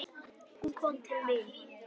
Hún kom til mín.